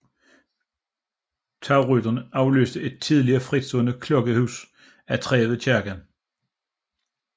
Tagrytteren afløste et tidligere fritstående klokkehus af træ ved kirken